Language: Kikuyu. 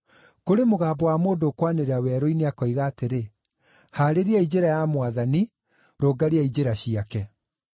“Kũrĩ mũgambo wa mũndũ ũkwanĩrĩra werũ-inĩ akoiga atĩrĩ, ‘Haarĩriai njĩra ya Mwathani, rũngariai njĩra ciake.’ ”